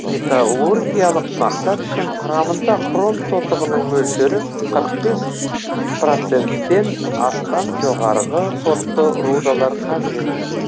металлургиялық мақсат үшін құрамында хром тотығының мөлшері қырық бес проценттен астам жоғарғы сортты рудалар қажет